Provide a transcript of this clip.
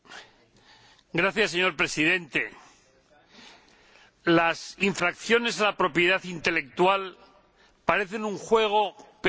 Señor Presidente, las infracciones a la propiedad intelectual parecen un juego, pero matan el juego.